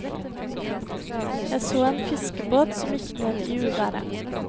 Jeg så en fiskebåt som gikk ned i uværet.